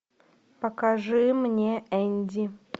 покажи мне энди